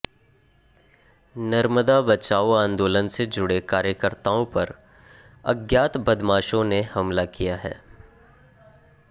नर्मदा बचाओ आंदोलन से जुड़े कार्यकर्ताओं पर अज्ञात बदमाशों ने हमला किया है